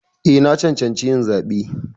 Eh, na cancanci yin zaɓe.